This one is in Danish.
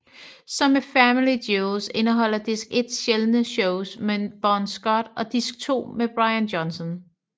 Som med Family Jewels indeholder disk 1 sjældne shows med Bon Scott og disk 2 med Brian Johnson